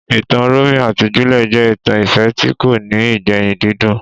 Ìtàn Romeo àti Juliet jẹ́ ìtàn ìfẹ́ tí kò ní ìgbẹ̀yìn dídùn